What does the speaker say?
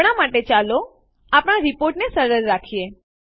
હમણાં માટે ચાલો આપણા રીપોર્ટ ને સરળ રાખીએ